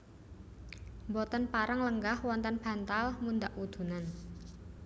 Boten pareng lenggah wonten bantal mundhak wudunen